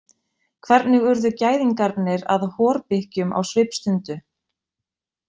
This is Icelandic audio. Hvernig urðu gæðingarnir að horbikkjum á svipstundu?